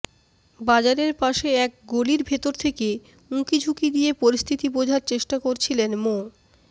বাজারের পাশে এক গলির ভেতর থেকে উঁকিঝুঁকি দিয়ে পরিস্থিতি বোঝার চেষ্টা করছিলেন মো